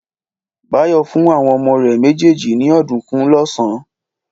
Báyọ̀ fún àwọn ọmọ rẹ̀ méjèèjì ní ọ̀dùnkún lọ́sàn-án.